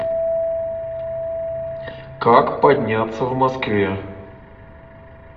как подняться в москве